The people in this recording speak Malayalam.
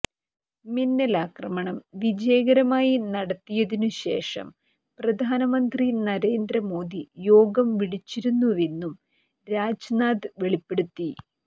മിന്നലാക്രമണം വിജയകരമായി നടത്തിയതിനുശേഷം പ്രധാനമന്ത്രി നരേന്ദ്ര മോദി യോഗം വിളിച്ചിരുന്നുവെന്നും രാജ്നാഥ് വെളിപ്പെടുത്തി